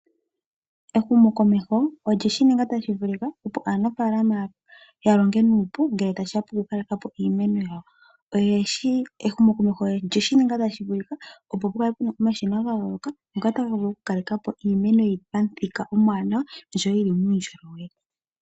Ehumo komeho olyeshi ninga tashi vulika opo aanafaalama ya longe nuupu ngele ta shiya poku kaleka po iimeno yawo. Ehumo komeho olyeshi ninga tashi vulika opo pukale puna omashina ga yooloka ngoka taga vulu oku kaleka po iimeno yili pa muthika omuwanawa osho wo yili muundjolowele.